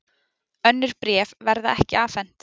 Önnur bréf verða ekki afhent